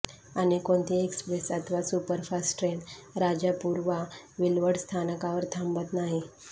अन्य कोणतीही एक्स्प्रेस अथवा सुपरफास्ट ट्रेन राजापूर वा विलवडे स्थानकावर थांबत नाही